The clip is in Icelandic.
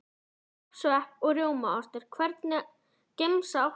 Pepp, svepp og rjómaost Hvernig gemsa áttu?